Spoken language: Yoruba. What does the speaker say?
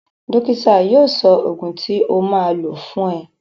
Dókítà yóò sọ ògùn tí o máa lò fún ẹ